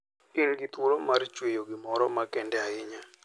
In gi thuolo mar chweyo gimoro makende ahinya.